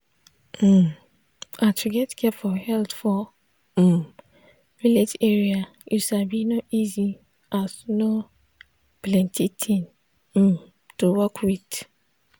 um ah to get care for health for um village area you sabi no easy as no plenti thing um to work with.